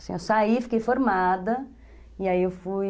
Assim, eu saí, fiquei formada e aí eu fui...